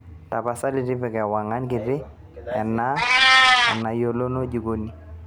tapasali tipika ewang'an kiti enaa enayienoyu jikoni